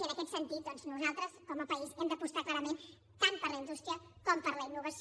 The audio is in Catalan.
i en aquest sentit nosaltres com a país hem d’apostar clarament tant per la indústria com per la innovació